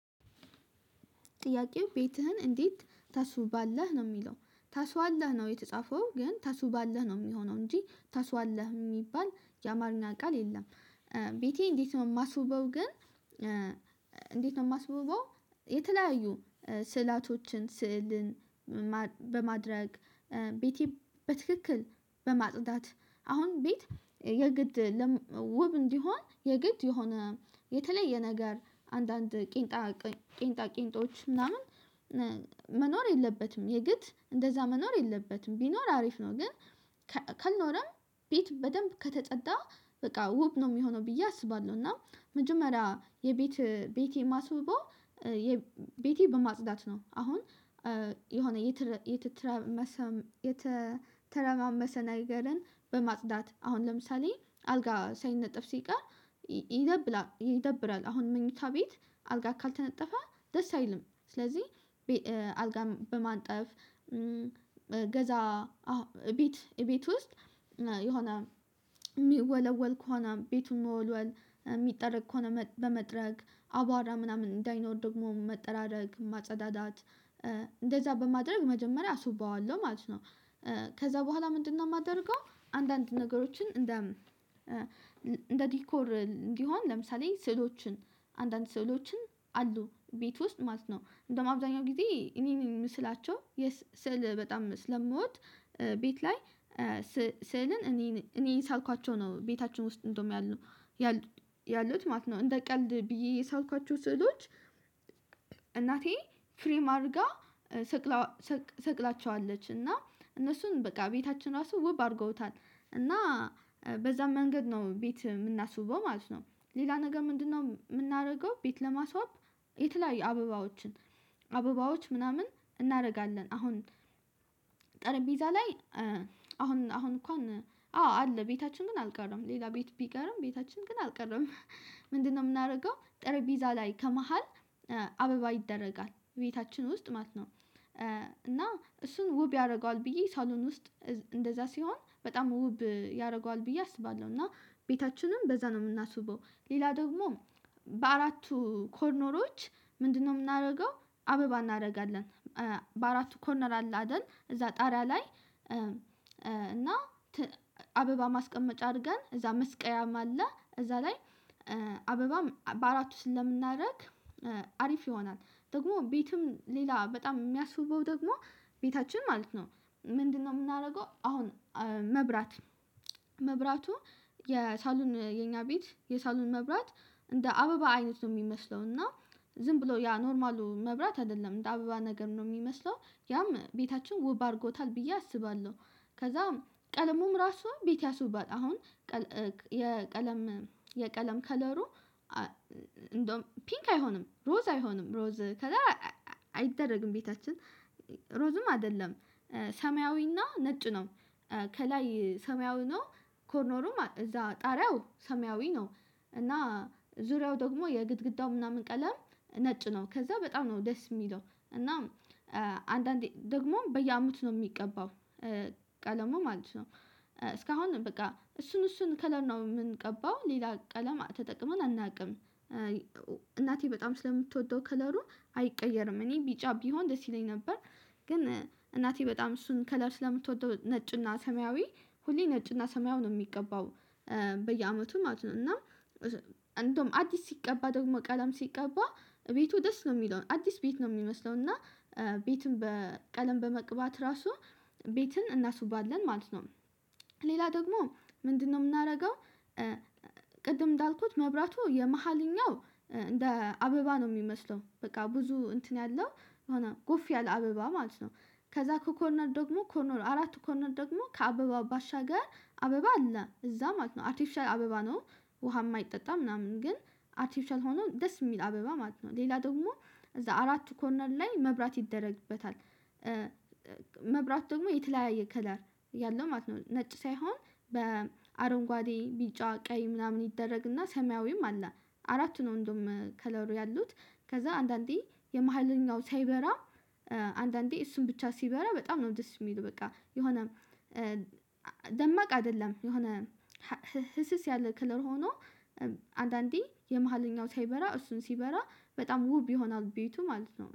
ጥያቄው ቤትህን እንዴት ታስውባለህ ነው የሚለው ታስዋለህ ነው የተጻፈው ግን ታስውባላህ ነው የሚሆነው እንጂ ተስዋለህ የሚባል የአማርኛ ቃል የለም። ቤቴ እንዴት ነው የማስውበው ግን እንዴት ነው የማስውበው የተለያዩ ስዕላቶችን ስዕልን በማድረግ ቤቴ በትክክል በማጽዳት አሁን ቤት የግድ ውብ እንዲሆን የግድ የሆነ የተለየ ነገር አንዳንድ ቂንጣ ቂንጦች ምናምን መኖር የለበትም የግድ እንደዛ መኖር የለበትም ቢኖር አሪፍ ነው። ግን ካልኖርም ቤት በደንብ ከተፅዳ በቃ ውብ ነው የሚሆነው ብዬ አስባለሁ። እና መጀመሪያ የቤት ቤቴ ማስበው ቤቴ በማጽዳት ነው አሁን የሆነ የተተረማመሰ ነገርን በማጽዳት አሁን ለምሳሌ አልጋ ሳይነጠፍ ሲቀር ይደብራል አሁን መኝታ ቤት አልጋ ካልተነጠፈ ደስ አይልም። ስለዚህ አልጋ በማጠፍ ገዛ ቤት ቤት ውስጥ የሆነ የሚወለወል ከሆነ ቤቱን መወልወል የሚጠረግ ከሆነ በመጥረግ አቧራ ምናምን እንዳይኖር ደግሞ መጠራረግ ማጸዳዳት እንደዛ በማድረግ መጀመሪያ አስውበዋለሁ ማለት ነው። ከዛ በኋላ ምንድነው? የማደርገው አንዳንድ ነገሮችን እንደ ዲኮር እንዲሆን ለምሳሌ ስዕሎችን አንዳንድ ስዕሎችን አሉ ቤት ውስጥ ማለት ነው እንደውም አብዛኛው ጊዜ እኔን ምስላቸው የስዕል በጣም ስለምወድ ቤት ላይ ስእልን እኔን እኔ የሳልኳቸው ነው ቤታችን ውስጥ እንደውም ያሉት ማለት ነው። እንደ ቀልድ ብዬ የሳልኳችሁ ስዕሎች እናቴ ፍሬም አድርጋ ሰቅላ ሰቅላቸዋለች እና እነሱን በቃ ቤታችን ራሱ ውብ አድርገውታል እና በዛም መንገድ ነው ቤት የምናስበው ማለት ነው። ሌላ ነገር ምንድነው? የምናደርገው ቤት ለማስዋብ የተለያዩ አበባዎችን አበባዎች ምናምን እናደርጋለን አሁን ጠረጴዛ ላይ አሁን እንኳን አዎ አለ ቤታችን ግን አልቀረም ሌላ ቤት ቢቀርም ቤታችን ግን አልቀረም ምንድነው የምናደርገው ጠረጴዛ ላይ ከመሃል አበባ ይደረጋል ቤታችን ውስጥ ማለት ነው። እና እሱን ውብ ያደርገዋል ብዬ ሳሎን ውስጥ እንደዛ ሲሆን በጣም ውብ ያደርገዋል ብዬ አስባለሁ። እና ቤታችንም በዛ ነው የምናስበው። ሌላ ደግሞ በአራቱ ኮርኖሮች ምንድነው? የምናደርገው አበባ እናደርጋለን በአራቱ ኮርነር አለ አይደል እዛ ጣሪያ ላይ እና አበባ ማስቀመጫ አድርገን እዛ መስቀያም አለ እዛ ላይ አበባ በአራቱ ውስጥ ስናደርግ አሪፍ ይሆናል። ደግሞ ቤትም ሌላ በጣም የሚያስቡበው ደግሞ ቤታችን ማለት ነው ምንድነው? የምናደርገው አሁን መብራት መብራቱ የሳሉን የኛ ቤት የሳሎን መብራት እንደ አበባ አይነት ነው የሚመስለው እና ዝም ብሎ ያ ኖርማሉ መብራት አይደለም እንደ አበባ ነገር ነው የሚመስለው ያም ቤታችን ውብ አድርጎታል ብዬ አስባለሁ። ከዛም ቀለሙም ራሱ ቤት ያሱባል አሁን የቀለም የቀለም ከለሩ እንደውም ፒንክ አይሆንም ሮዝ አይሆንም ሮዝ ከዛ አይደረግም ቤታችን ሮዝም አይደለም ሰማያዊና ነጭ ነው። ከላይ ሰማያዊ ነው ኮርኖሩም እዛ ጣሪያው ሰማያዊ ነው። እና ዙሪያው ደግሞ የግድግዳው ምናምን ቀለም ነጭ ነው ከዛ በጣም ነው ደስ የሚለው እና አንዳንዴ ደግሞ በየአምስት ነው የሚቀባው ቀለሙ ማለት ነው። እስካሁን በቃ እሱን እሱን ከለር የምንቀባው ሌላ ቀለም ተጠቅመን አናውቅም። እናቴ በጣም ስለምትወደው ከለሩ አይቀየርም እኔ ቢጫ ቢሆን ደስ ይለኝ ነበር። ግን እናቴ በጣም እሱን ከለር ስለምትወደው ነጭና ሰማያዊ ሁሌ ነጭና ሰማያዊ ነው የሚገባው። በየአመቱ ማለት ነው እና እንደውም አዲስ ሲቀባ ደግሞ ቀለም ሲቀባ ቤቱ ደስ ነው የሚለው አዲስ ቤት ነው የሚመስለው። እና ቤትን በቀለም በመቅባት ራሱ ቤትን እናስባለን ማለት ነው። ሌላ ደግሞ ምንድነው? የምናደርገው ቅድም እንዳልኩት መብራቱ የመሃለኛው እንደ አበባ ነው የሚመስለው በቃ ብዙ እንትን ያለው የሆነ ጎፍ ያለ አበባ ማለት ነው ከዛ ከኮርነር ደግሞ ኮርነር አራቱ ኮርነር ደግሞ ከአበባ ባሻገር አበባ አለ እዛ ማለት ነው አርቲፊሻል አበባ ነው። ውሃ የማይጠጣ ምናምን ግን አርቲፊሻል ሆኖ ደስ የሚል አበባ ማለት ነው ሌላ ደግሞ እዛ አራቱ ኮርነር ላይ መብራት ይደረግበታል። መብራት ደግሞ የተለያየ ከለር ያለው ማለት ነው ነጭ ሳይሆን በአረንጓዴ ቢጫ ቀይ ምናምን ይደረግና ሰማያዊም አለ አራቱን እንደውም ከለሩ ያሉት ከዛ አንዳንዴ የመሃለኛው ሳይበራ አንዳንዴ እሱን ብቻ ሲበራ በጣም ነው ደስ የሚሉ በቃ የሆነ ደማቅ አይደለም የሆነ ህስስ ያለ ክለር ሆኖ አንዳንዴ የመሃለኛው ሳይበራ እሱን ሲበራ በጣም ውብ ይሆናል ቤቱ ማለት ነው